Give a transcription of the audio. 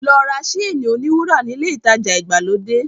Lọ ra séènì-oníwúrà nílé ìtajà ìgbàlódé.